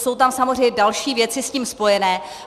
Jsou tam samozřejmě další věci s tím spojené.